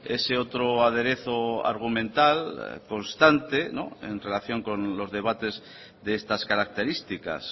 ese otro aderezo argumental constante no en relación con los debates de estas características